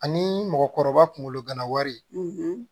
Ani mɔgɔkɔrɔba kunkolo gana wari